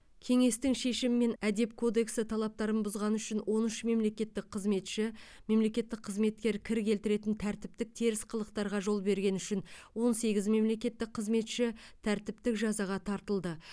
кеңестің шешімімен әдеп кодексі талаптарын бұзғаны үшін он үш мемлекеттік қызметші мемлекеттік қызметке кір келтіретін тәртіптік теріс қылықтарға жол бергені үшін он сегіз мемлекеттік қызметші тәртіптік жазаға тартылды